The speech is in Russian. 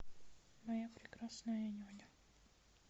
моя прекрасная няня